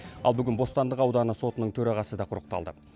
ал бүгін бостандық ауданы сотының төрағасы да құрықталды